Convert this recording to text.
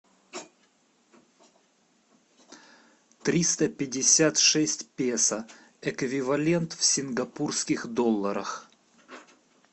триста пятьдесят шесть песо эквивалент в сингапурских долларах